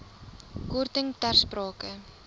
korting ter sprake